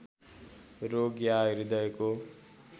रोग या हृदयको